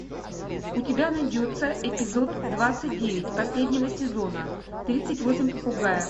у тебя найдется эпизод двадцать девять последнего сезона тридцать восемь попугаев